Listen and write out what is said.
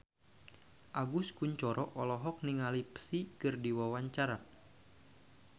Agus Kuncoro olohok ningali Psy keur diwawancara